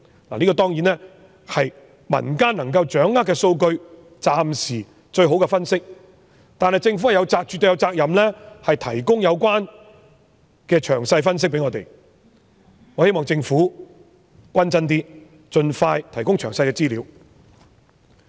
當然，這是用民間能夠掌握的數據，是暫時最好的分析，但政府絕對有責任向我們提供有關的詳細分析，我希望政府行事公正嚴謹一些，盡快提供詳細資料。